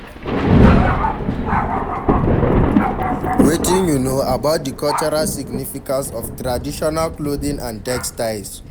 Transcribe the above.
Wetin you know about di cultural significance of traditional clothing and textiles?